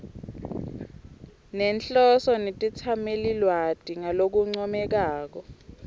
nenhloso netetsamelilwati ngalokuncomekako